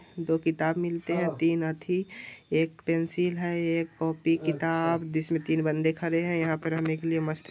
दो किताब मिलते है। तीन अथी एक पेंसिल है एक कॉपी किताब जिसमें तीन बंदे खड़े है यहां पर रहने के लिए मस्त --